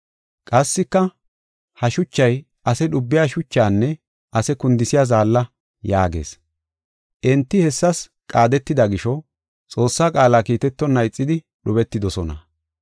Qassika, “Ha shuchay ase dhubiya shuchinne ase kundisiya zaalla” yaagees. Enti hessas qaadetida gisho Xoossaa qaala kiitetonna ixidi dhubetidosona.